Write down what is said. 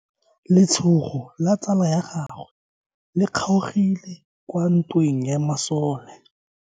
Letsogo la tsala ya gagwe le kgaogile kwa ntweng ya masole.